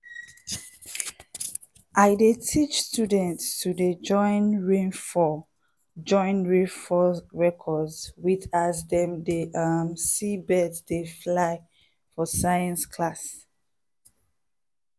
i dey teach students to dey join rainfall join rainfall records with as dem dey um see birds dey fly for science class.